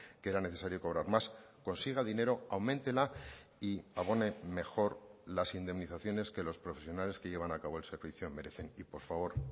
que era necesario cobrar más consiga dinero auméntela y abone mejor las indemnizaciones que los profesionales que llevan a cabo el servicio merecen y por favor